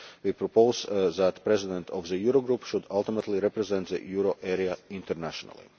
the IMF. We propose that the President of the Eurogroup should ultimately represent the euro area internationally.